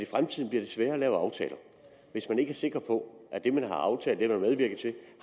fremtiden bliver sværere at lave aftaler hvis man ikke er sikker på at det man har aftalt og medvirket til